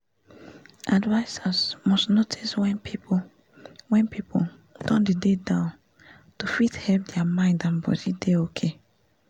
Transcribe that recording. advisers must notice wen people wen people don dey dey down to fit help dia mind and body dey okay